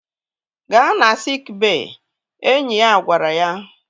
Gaa na siik bey! Enyi ya gwara ya